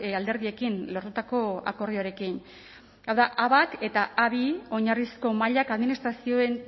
alderdiekin lortutako akordioarekin hau da a bat eta a bi oinarrizko mailak administrazioen